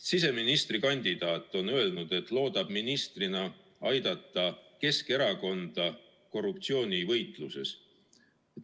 Siseministrikandidaat on öelnud, et ta loodab ministrina aidata Keskerakonda korruptsioonivõitluses.